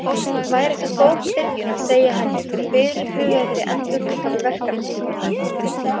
Væri það góð byrjun að segja henni frá fyrirhugaðri endurútgáfu verkanna?